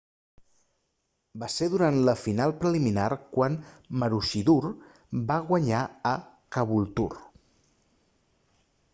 va ser durant la final preliminar quan maroochydore va guanyar a caboolture